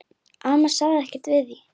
Amma sagði ekkert við því.